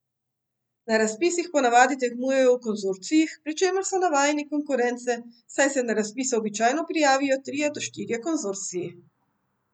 Na razpisih ponavadi tekmujejo v konzorcijih, pri čemer so navajeni konkurence, saj se na razpise običajno prijavijo trije do štirje konzorciji.